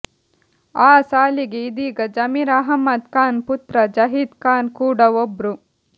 ಆ ಸಾಲಿಗೆ ಇದೀಗ ಜಮೀರ್ ಅಹ್ಮದ್ ಖಾನ್ ಪುತ್ರ ಜಹೀದ್ ಖಾನ್ ಕೂಡ ಒಬ್ರು